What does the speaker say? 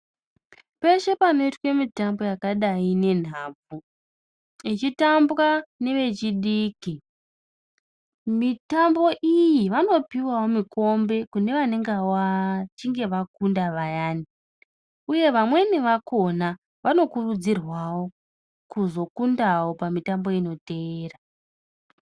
Pashe panoitwe mitambo yakadai nenhabvu ichitambwa nevechidiki, mitambo iyi vanopiwawo mikombe kune vanonga vachinge vakunda vayani uye vamweni vakhona vanokurudzirwawo kuzokundawo pamitambo inoteera.